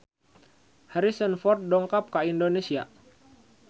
Harrison Ford dongkap ka Indonesia